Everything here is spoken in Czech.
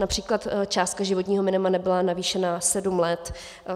Například částka životního minima nebyla navýšena sedm let.